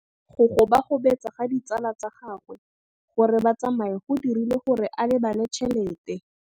Go gobagobetsa ga ditsala tsa gagwe, gore ba tsamaye go dirile gore a lebale tšhelete.